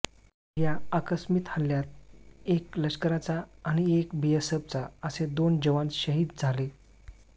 या आकस्मिक हल्ल्यात एक लष्कराचा आणि एक बीएसफचा असे दोन जवान शाहिद झाले